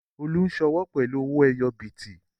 Olú ń sọ́wọ́ pẹ̀lú owó ẹyọ bìtì